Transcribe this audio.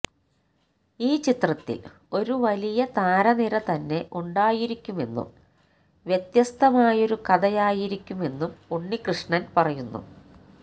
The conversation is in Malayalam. ഈ ചിത്രത്തില് ഒരു വലിയ താരനിര തന്നെ ഉണ്ടായിരിക്കുമെന്നും വ്യത്യസ്തമായൊരു കഥയായിരിക്കുമെന്നും ഉണ്ണികൃഷ്ണന് പറയുന്നു